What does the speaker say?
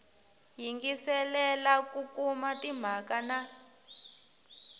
yingiselela ku kuma timhaka na